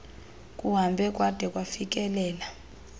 kuhambe kwada kwafikelela